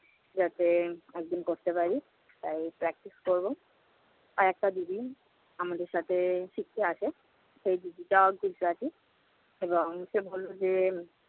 যাতে একদিন করতে পারি তাই practice করবো। আর একটা দিদি আমাদের সাথে শিখতে আসে, সেই দিদিটা শিখতে আসে এবং সে বলল যে